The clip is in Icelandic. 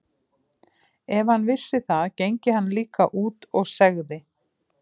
Því ef hann vissi það gengi hann líka út og segði